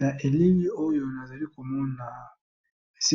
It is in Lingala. Na elili oyo nazala komona, eza